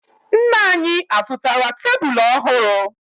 Nna anyị azụtara tebulu ọhụrụ?